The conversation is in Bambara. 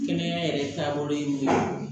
Kɛnɛya yɛrɛ taabolo ye min ye